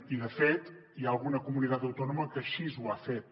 i de fet hi ha alguna comunitat autònoma que així ho ha fet